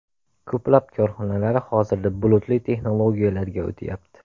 Ko‘plab korxonalar hozirda bulutli texnologiyalarga o‘tyapti.